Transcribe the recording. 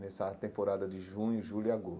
Nessa temporada de junho, julho e